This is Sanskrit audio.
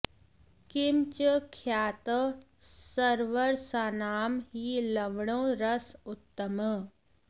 किं च ख्यातः सर्वरसानां हि लवणो रस उत्तमः